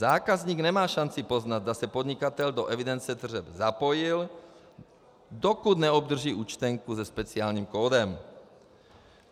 Zákazník nemá šanci poznat, zda se podnikatel do evidence tržeb zapojil, dokud neobdrží účtenku se speciálním kódem.